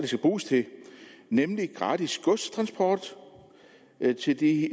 skal bruges til nemlig gratis godstransport til de